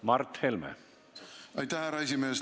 Aitäh, härra esimees!